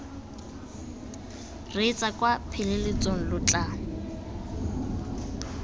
reetsa kwa pheletsong lo tla